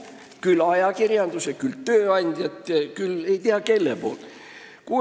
Küll ajakirjandus, küll tööandja, küll ei tea kes karistavad inimest ammu enne kohut.